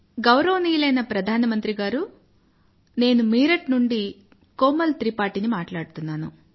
గౌరవనీయులైన ప్రధానమంత్రి గారూ నేను మీరట్ నుండి కోమల్ త్రిపాఠీ ని మాట్లాడుతున్నాను